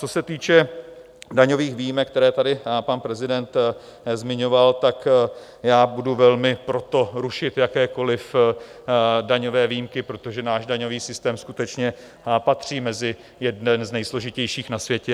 Co se týče daňových výjimek, které tady pan prezident zmiňoval, tak já budu velmi pro to, rušit jakékoliv daňové výjimky, protože náš daňový systém skutečně patří mezi jeden z nejsložitějších na světě.